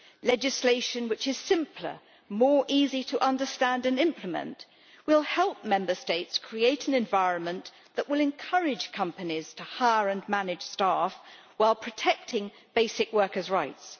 Legislation which is simpler and easier to understand and implement will help Member States create an environment that will encourage companies to hire and manage staff, while protecting basic workers' rights.